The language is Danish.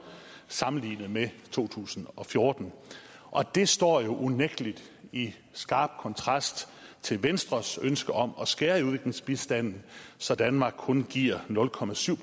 sammenlignet med to tusind og fjorten det står jo unægtelig i skarp kontrast til venstres ønske om at skære i udviklingsbistanden så danmark kun giver nul procent